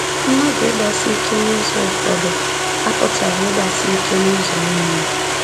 Mmadụ ịgbasi ike n’ụzọ ụfọdụ apụtaghị ịgbasi ike n’ụzọ nile.